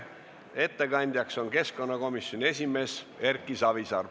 Ettekandja on keskkonnakomisjoni esimees Erki Savisaar.